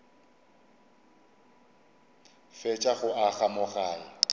fetša go aga mo gae